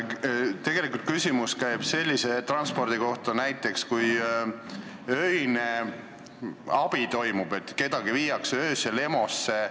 Tegelikult käis küsimus näiteks sellise transpordi kohta, mis on öine abi, näiteks kedagi viiakse öösel EMO-sse.